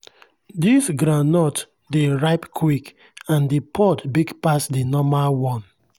this groundnut dey ripe quick and the pod big pass the normal one.